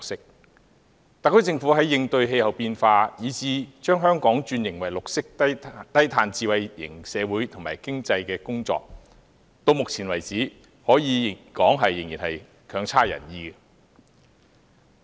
然而，就特區政府在應對氣候變化，以至把香港轉型為綠色低碳智慧型社會及經濟的工作，直至目前為止，可說仍不盡人意。